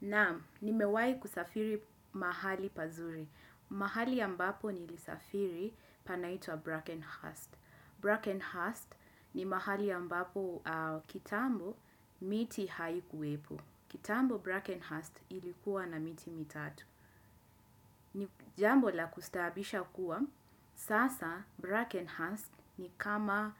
Naam, nimewai kusafiri mahali pazuri. Mahali ambapo nilisafiri panaitwa Brackenhurst. Brackenhurst ni mahali ambapo kitambo miti haikuwepo. Kitambo Brackenhurst ilikuwa na miti mitatu. Nijambo la kustabisha kuwa, sasa Brackenhurst ni kama